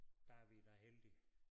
Der vi da heldige